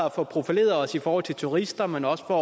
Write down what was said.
at få profileret os i forhold til turister men også for